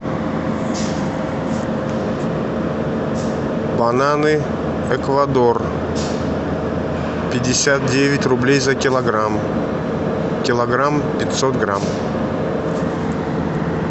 бананы эквадор пятьдесят девять рублей за килограмм килограмм пятьсот грамм